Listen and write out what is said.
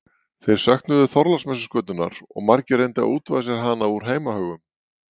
þeir söknuðu þorláksmessuskötunnar og margir reyndu að útvega sér hana úr heimahögum